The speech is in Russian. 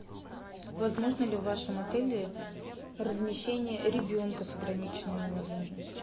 возможно ли в вашем отеле размещение ребенка с ограниченными возможностями